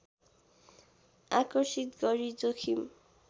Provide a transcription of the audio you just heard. आकर्षित गरी जोखिम